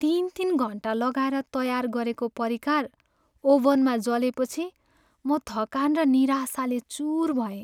तिन तिन घन्टा लगाएर तयार गरेको परिकार ओभनमा जलेपछि म थकान र निराशाले चुर भएँ।